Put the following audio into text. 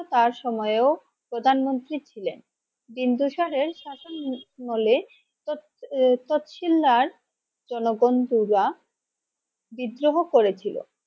তার সময়ে ও প্রধান মন্ত্রী ছিলেন বিন্দুসারের শাসনামলে তৎ তৎশিলদার জনগণ বিদ্রোহ করেছিল।